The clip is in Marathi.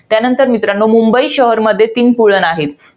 त्यानंतर मुंबई शहर मध्ये तीन पुळण आहे.